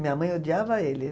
Minha mãe odiava ele.